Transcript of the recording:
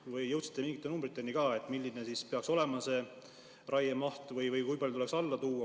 Ning kas te jõudsite ka mingite numbriteni, kui suur peaks raiemaht olema ja kui palju seda tuleks vähendada?